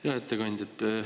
Hea ettekandja!